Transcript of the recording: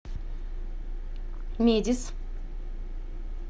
медис